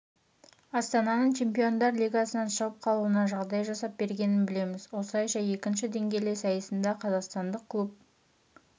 астананы чемпиондар лигасынан шығып қалуына жағдай жасап бергенін білеміз осылайша екінші деңгейлі сайысында қазақстандық клуб